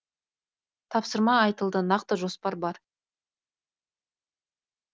тапсырма айтылды нақты жоспар бар